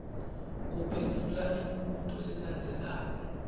uphendvula imibuto lelandzelako